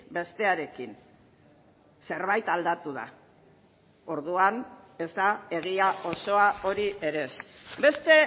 bestearekin zerbait aldatu da orduan ez da egia osoa hori ere ez beste